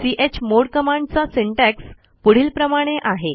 chmod कमांडचा syntax पुढीलप्रमाणे आहे